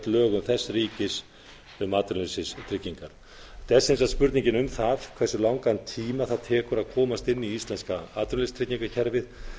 lögum þess ríkis um atvinnuleysistryggingar þetta er sem sagt spurningin um það hversu langan tíma tekur að komast inn í íslenska atvinnuleysistryggingakerfið og